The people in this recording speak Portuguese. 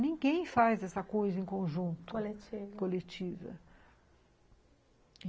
Ninguém faz essa coisa em conjunto, coletiva.